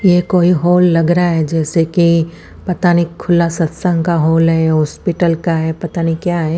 ये कोई हॉल लग रहा है जैसे की पता नहीं खुला सत्संग का हॉल है या हॉस्पिटल का है पता नहीं क्या है--